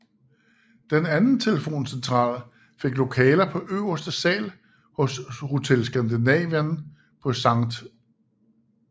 Den anden telefoncentral fik lokaler på øverste sal hos Hotel Skandinavien på Skt